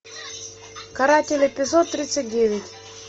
каратели эпизод тридцать девять